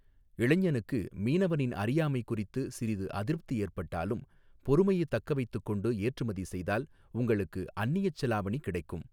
இளைஞனுக்கு மீனவனின் அறியாமை குறித்து சிறிது அதிருப்தி ஏற்பட்டாலும் பொறுமையை தக்க வைத்துக் கொண்டு ஏற்றுமதி செய்தால் உங்களுக்கு அந்நியச் செலாவணி கிடைக்கும்.